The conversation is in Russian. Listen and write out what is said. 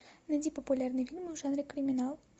найди популярные фильмы в жанре криминал